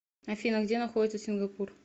афина где находится сингапур